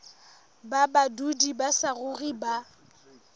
ba badudi ba saruri ba